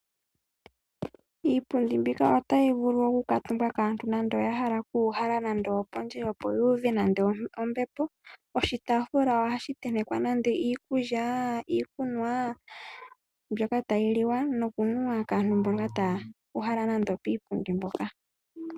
Iipundi mbika otayi vulu okukaatumbwa kaantu nande oya hala okuuhala nande opondje, opo ya uve nande ombepo. Oshitaafula ohashi tentekwa nande iikulya, iikunwa mbyoka tayi liwa nokunuwa kaantu mboka taya uhala nande opiipundi mpoka.